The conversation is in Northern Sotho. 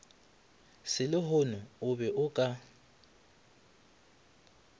selehono o be o ka